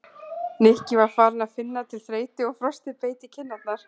Nikki var farinn að finna til þreytu og frostið beit í kinn- arnar.